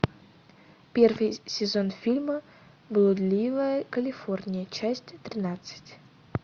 первый сезон фильма блудливая калифорния часть тринадцать